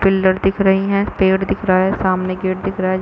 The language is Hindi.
पिल्लर दिख रही है पेड़ दिख रहा है सामने गेट है।